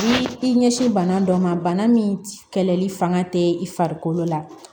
Ni i ɲɛsin bana dɔ ma bana min kɛlɛli fanga tɛ i farikolo la